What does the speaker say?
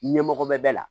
Ɲɛmɔgɔ mɛn bɛɛ la